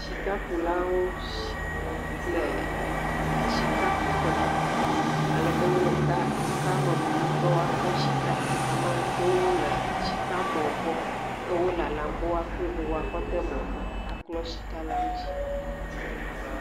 Shikakulawo shhhh, le ɛɛɛ shikakuƒe. Alebe wo kaa, wo kea me blum be woakpɔ shika. Amaa ɖewo le shikamɔɔ gbɔ he wo lalam be woakɔe va woakɔ de mɔ̃me, aklɔ shikala ŋutsi.